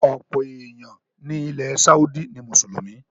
Ọ̀pọ̀ èèyàn ni ilẹ̀ Sáúdí ni Mùsùlùmí